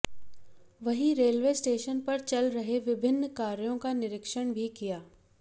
वहीं railway station पर चल रहे विभिन्न कार्यों का निरीक्षण भी किया